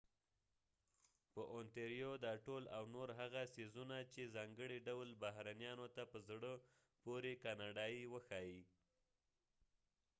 دا ټول او نور هغه څیزونه چې ontario په ځانګړي ډول بهرنیانو ته په زړه پورې کاناډایې وښایي